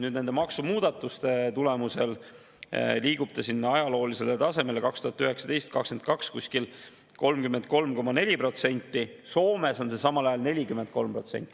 Nüüd, nende maksumuudatuste tulemusel liigub ta sinna ajaloolisele tasemele, 2019–2022, umbes 33,4%, Soomes on see samal ajal 43%.